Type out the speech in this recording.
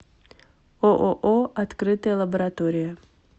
ооо открытая лаборатория